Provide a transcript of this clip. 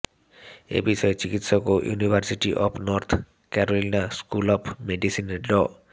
এ বিষয়ে চিকিৎসক ও university of North Carolina school of মেডিসিনের ড